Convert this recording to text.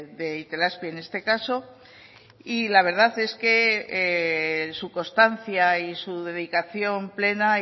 de itelazpi en este caso y la verdad es que su constancia y su dedicación plena